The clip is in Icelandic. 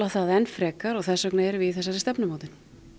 það enn frekar og þess vegna erum við í þessari stefnumótun